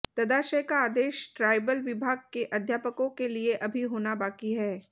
तदाशय का आदेश ट्रायबल विभाग के अध्यापकों के लिये अभी होना बाकी है